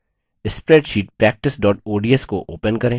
spreadsheet practice ods को open करें